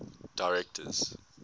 directors